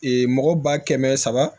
mɔgɔ ba kɛmɛ saba